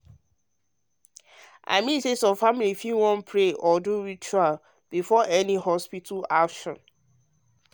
i mean say some families fit wan pray or do ritual before any hospital action.